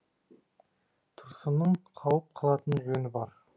тұрсынның қауіп қылатын жөні бар